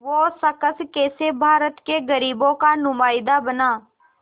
वो शख़्स कैसे भारत के ग़रीबों का नुमाइंदा बना